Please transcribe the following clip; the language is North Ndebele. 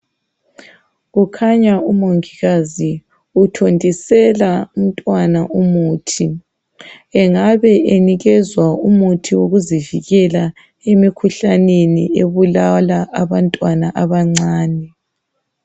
Kukhanya umongikazi uthontisela umntwana umuthi. Engabe enikezwa umuthi wokuzivikela emikhuhlaneni ebulala abantwana abancane.